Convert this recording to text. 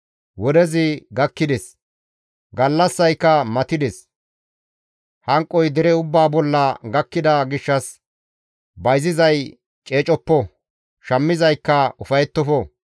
Wodezi gakkides; gallassayka matides! Hanqoy dere ubbaa bolla gakkida gishshas bayzizay ceecoppo; shammizaykka ufayettofo.